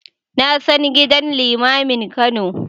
Na san gidan limamin Kano.